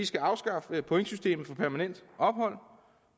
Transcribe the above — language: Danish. skal afskaffe pointsystemet for permanent ophold